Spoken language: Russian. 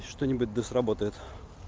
что-нибудь да сработает